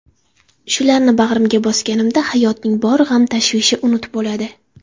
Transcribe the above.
Shularni bag‘rimga bosganimda hayotning bor g‘am-tashvishi unut bo‘ladi.